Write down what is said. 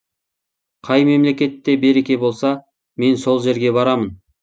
қай мемлекетте береке болса мен сол жерге барамын